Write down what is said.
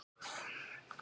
Hvernig virkar þetta?